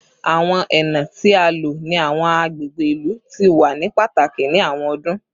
Awọn ena ti a lo ni awọn agbegbe ilu ti wa ni pataki ni awọn ọdun